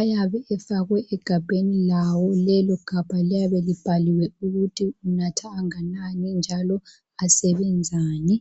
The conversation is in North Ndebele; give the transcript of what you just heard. ayabe efakwe egabheni lawo. Lelo gabha liyabe libhaliwe ukuthi unatha anganani njalo asebenzani.